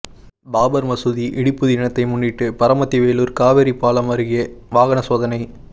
பாபா் மசூதி இடிப்பு தினத்தை முன்னிட்டு பரமத்தி வேலூா் காவிரி பாலம் அருகே வாகனச் சோதனை